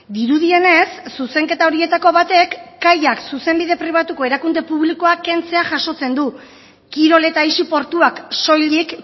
dirudienez zuzenketa horietako batek kaiak zuzenbide pribatuko erakunde publikoa kentzea jasotzen du kirol eta aisi portuak soilik